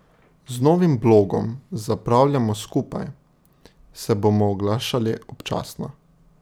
Z novim blogom Zapravljajmo skupaj se bomo oglašali občasno.